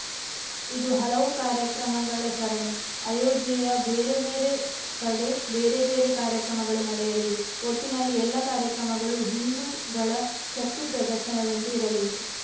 ಇದು ಹಲವು ಕಾರ್ಯಕ್ರಮಗಳ ಸರಣಿ ಅಯೋಧ್ಯೆಯ ಬೇರೆ ಬೇರೆ ಕಡೆ ಬೇರೆ ಬೇರೆ ಕಾರ್ಯಕ್ರಮಗಳು ನಡೆಯಲಿವೆ ಒಟ್ಟಿನಲ್ಲಿ ಎಲ್ಲಾ ಕಾರ್ಯಕ್ರಮಗಳೂ ಹಿಂದೂಗಳ ಶಕ್ತಿಪ್ರದರ್ಶನದಂತೆ ಇರಲಿವೆ